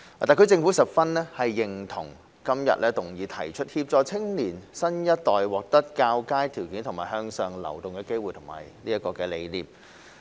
特區政府十分認同今日議案提出協助青年新一代獲得較佳條件及向上流動機會的理念。